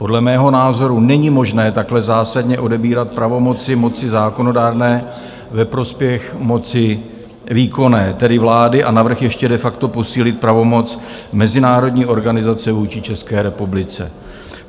Podle mého názoru není možné takhle zásadně odebírat pravomoci moci zákonodárné ve prospěch moci výkonné, tedy vlády, a navrch ještě de facto posílit pravomoc mezinárodní organizace vůči České republice.